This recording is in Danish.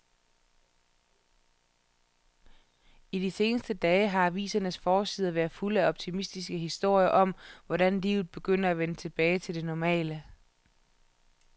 I de seneste dage har avisernes forsider været fulde af optimistiske historier om, hvordan livet begynder at vende tilbage til det normale.